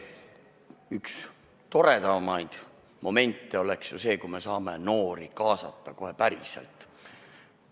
Üks toredamaid momente oleks ju see, kui me saaksime noori kaasata kohe päriselt.